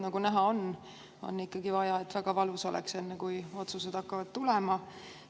Nagu näha on, on siiski vaja, et väga valus oleks, enne kui otsused hakkavad tulema.